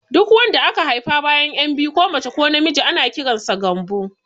Duk wanda aka haifa bayan ƴan biyu ko mace ko na miji ana kiransu Gambo